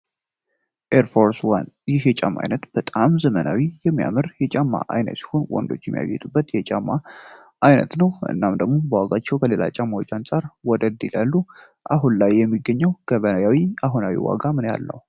ኤርፎርስ ዋን ይህ የጫማ አይነት በጣም የሚያምር ዘመናዊ የጫማ አይነት ሲሆን ወንዶች የሚጌገጡበት የጫማ አይነት ነው። እናም ደግሞ በዋጋቸው ከሌላ ጫማዎች አንፃር ወደድ ይላሉ። አሁን ላይ የሚገኘው ገበያ ላይ አሁናዊ ዋጋ ምን ያህል ነው?